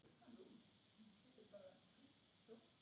Finnur þú fyrir því sama?